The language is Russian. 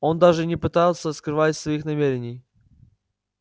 он даже и не пытается скрывать своих намерений